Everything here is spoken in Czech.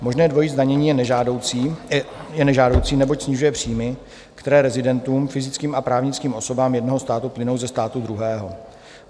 Možné dvojí zdanění je nežádoucí, neboť snižuje příjmy, které rezidentům - fyzickým a právnickým osobám jednoho státu - plynou ze státu druhého.